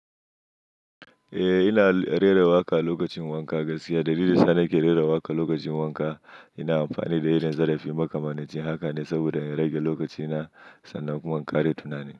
Eh, ina rera waƙa lokacin wanka. Gaskiya, dalilin sa ni ke rera waƙa lokacin wanka ina amfani da yanar gizo da fim kamar na ce. Haka ne, saboda ya rage lokaci na sannan kuma kare tunani.